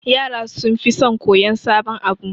Yara sunfi son koyan sabon abu